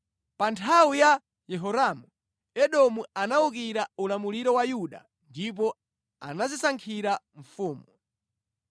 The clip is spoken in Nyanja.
Pa nthawi ya Yehoramu, Edomu anawukira ulamuliro wa Yuda ndipo anadzisankhira mfumu.